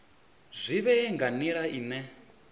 zwi vhe nga nila ine